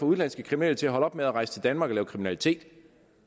udenlandske kriminelle til at holde op med at rejse til danmark og lave kriminalitet